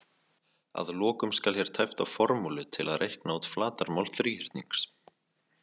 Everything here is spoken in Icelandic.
Að lokum skal hér tæpt á formúlu til að reikna út flatarmál þríhyrnings